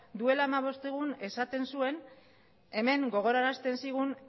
duela hamabost egun esaten zuen hemen gogorarazten zigun